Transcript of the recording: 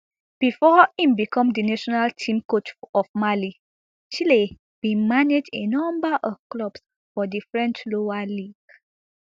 bifor e become di national team coach of mali chelle bin manage a number of clubs for di french lower league